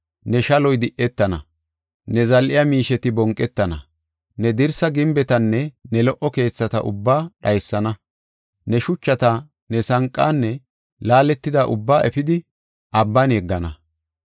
Ne shaloy di7etana; ne zal7iya miisheti bonqetana. Ne dirsa gimbetanne ne lo77o keethata ubbaa dhaysana; ne shuchata, ne sanqaanne laaletida ubbaa efidi abban yeggana.